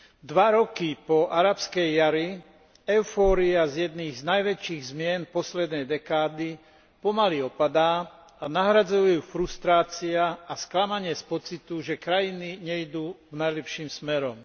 Dva roky po Arabskej jari eufória z jednej z najväčších zmien poslednej dekády pomaly opadá a nahrádzajú ju frustrácia a sklamanie z pocitu, že krajiny nejdú najlepším smerom.